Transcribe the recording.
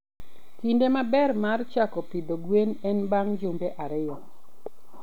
Kinde maber mar chako pidho gwen en bang' jumbe ariyo.